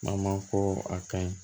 Ma ko a ka ɲi